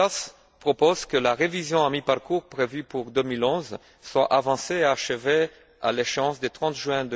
Portas propose que la révision à mi parcours prévue pour 2011 soit avancée et achevée à l'échéance du 30 juin